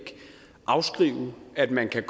afskrive at man kan